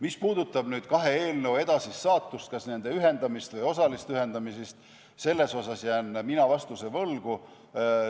Mis puudutab kahe eelnõu edasist saatust, kas nende ühendamist või osalist ühendamist, siis ma jään vastuse võlgu.